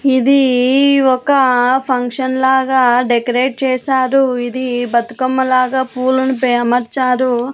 ఇది ఒక ఫంక్షన్ లాగా డెకరేట్ చేశారు ఇది బతుకమ్మ లాగా పూలను పే అమర్చారు.